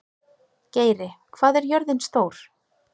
Geiri, hvað er jörðin stór?